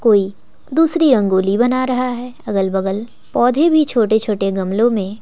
कोई दूसरी रंगोली बना रहा है अगल बगल पौधे भी छोटे छोटे गमलों में--